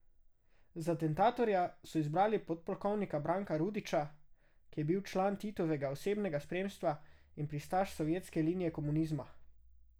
Za atentatorja so izbrali podpolkovnika Branka Rudića, ki je bil član Titovega osebnega spremstva in pristaš sovjetske linije komunizma.